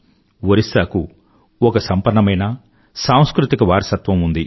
ఒరిస్సాకు ఒక సంపన్నమైన సాంస్కృతిక వారసత్వం ఉంది